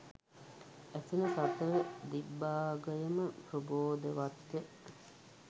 ඇසෙන සතර දිග්භාගයම ප්‍රබෝධවත්ය.